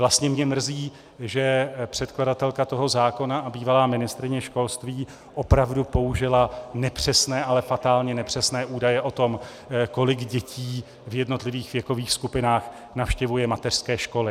Vlastně mě mrzí, že předkladatelka toho zákona a bývalá ministryně školství opravdu použila nepřesné, ale fatálně nepřesné údaje o tom, kolik dětí v jednotlivých věkových skupinách navštěvuje mateřské školy.